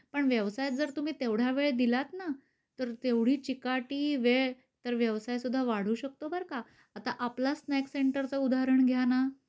पण व्यवसायात जर तुम्ही तेवढा वेळ दिलात ना, तर तेवढी चिकाटी वेळ, तर व्यवसाय सुद्धा वाढू शकतो बरका आता आपला स्नॅक्स सेंटरचं उदाहरण घ्याना.